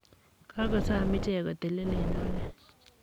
kakosom ichek kotelel eng oret.